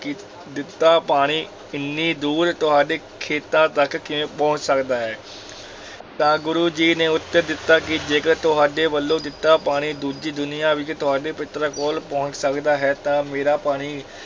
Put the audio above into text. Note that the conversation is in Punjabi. ਦਿੱਤਾ ਪਾਣੀ ਇੰਨੀ ਦੂਰ ਤੁਹਾਡੇ ਖੇਤਾਂ ਤਕ ਕਿਵੇਂ ਪਹੁੰਚ ਸਕਦਾ ਹੈ ਤਾਂ ਗੁਰੂ ਜੀ ਨੇ ਉੱਤਰ ਦਿੱਤਾ ਕਿ ਜੇਕਰ ਤੁਹਾਡੇ ਵੱਲੋਂ ਦਿੱਤਾ ਪਾਣੀ ਦੂਜੀ ਦੁਨੀਆ ਵਿੱਚ ਤੁਹਾਡੇ ਪਿੱਤਰਾਂ ਕੋਲ ਪਹੁੰਚ ਸਕਦਾ ਹੈ, ਤਾਂ ਮੇਰਾ ਪਾਣੀ